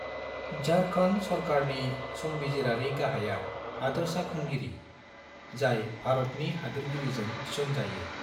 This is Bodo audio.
झारखान्ड सरकारनि संबिजिरारि गाहाया हादोरसाखुंगिरि, जाय भारतनि हादोरगिरिजों थिसन जायो।